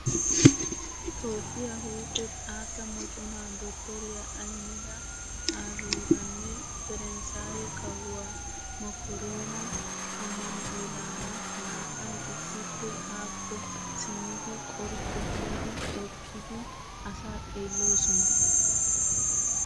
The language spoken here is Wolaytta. Toophphiyaa huuphe xaatta moconaa dottoriyaa Ahimeda Aabiyiiraanne perenssaaye kawuwaa Maakiroona Ammaanu'eelaara na'ayi issippe haakko simmidi qorjju giidi eqqidi asaa xeelloosona.